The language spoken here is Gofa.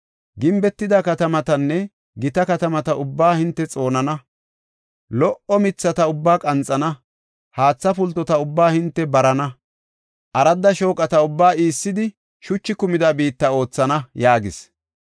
Gimbetida katamatanne gita katamata ubbaa hinte xoonana. Lo77o mithata ubbaa qanxana; haatha pultota ubbaa hinte barana; aradda shooqata ubbaa iissidi shuchi kumida biitta oothana” yaagis.